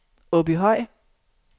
Åbyhøj